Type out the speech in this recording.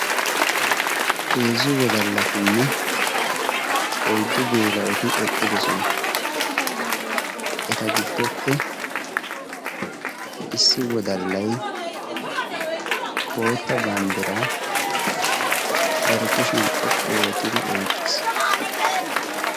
heezzu wodallatinne oiddu geela7oti eqqidosona eta giddoppe issi wodallai bootta banddiraa bare kushiyan xoqqu ootidi oiqqiis